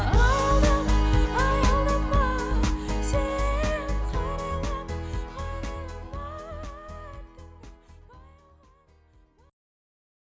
аялдама аялдама сен